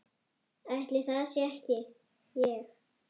Ætli það sé ekki ég.